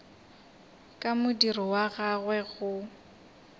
ka modiro wa gagwe go